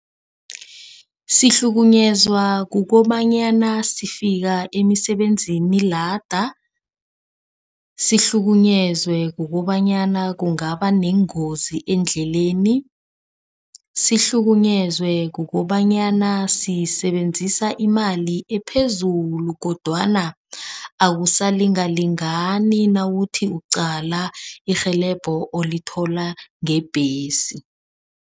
Sihlukunyezwa kukobanyana sifika emisebenzini lada. Sihlukunyezwe kukobanyana kungaba neengozi eendleleni. Sihlukunyezwe kukobanyana sisebenzisa imali ephezulu kodwana akusalingalingani nawuthi uqala irhelebho olithola ngebhesi.